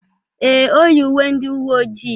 Ee, o yi uwe ndị uwe ojii.